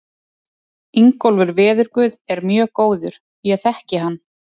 Ingólfur veðurguð er mjög góður, ég þekki hann.